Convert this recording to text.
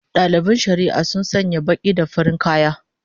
Dalibin shari'a sun sanya baki da farin kaya